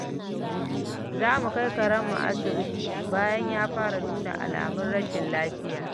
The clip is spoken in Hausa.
Za mu kai karenmu asibiti bayan ya fara nuna alamun rashin lafiya.